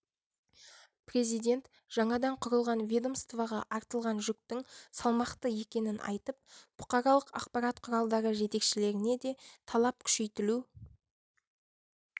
президент жаңадан құрылған ведомствоға артылған жүктің салмақты екенін айтып бұқаралық ақпарат құралдары жетекшілеріне де талап күшейтілу